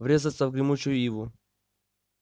врезаться в гремучую иву